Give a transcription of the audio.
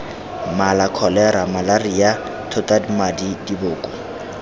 mala kholera malaria thotamadi diboko